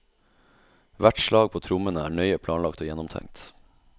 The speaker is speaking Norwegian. Hvert slag på trommene er nøye planlagt og gjennomtenkt.